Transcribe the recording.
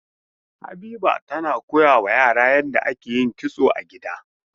Habiba tana koyawa yara yadda ake yin kitso a gida.